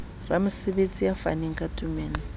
ramosebetsi a faneng ka tumello